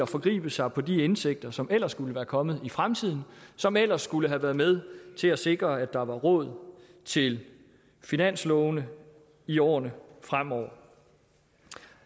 forgribe sig på de indtægter som ellers skulle være kommet i fremtiden og som ellers skulle have været med til at sikre at der var råd til finanslovene i årene fremover